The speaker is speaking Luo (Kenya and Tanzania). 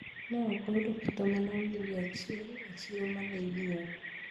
Ne ok ayudo kata mana oyundi achiel e chiro ma ne ing'iewo.